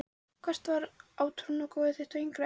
Hvert var átrúnaðargoð þitt á yngri árum?